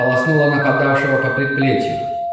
полоснула нападавшего по предплечью